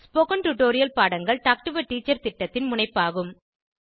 spoken tutorial பாடங்கள் talk to a teacher திட்டத்தின் முனைப்பாகும்